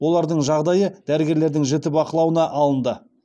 олардың жағдайы дәрігерлердің жіті бақылауына алынды